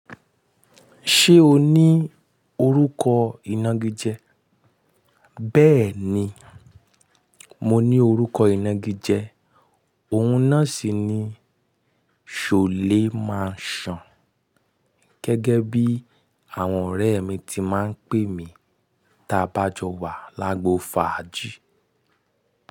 Ṣé o ní orúkọ ìnagijẹ? Bẹ́ẹ̀ ni, mo ní orúkọ ìnagijẹ. Ohun náà sì ni Ṣọlé máa ń sọ gẹ́gẹ́ bí àwọn ọ̀rẹ́ mi ti máa ń pè mí tá bá jọ wà lágbo fàájì.